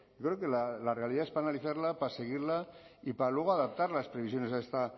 yo creo que la realidad es para analizarla para seguirla y para luego adaptar las previsiones a